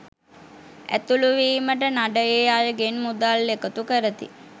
ඇතුළුවීමට නඩයේ අයගෙන් මුදල් එකතු කරති.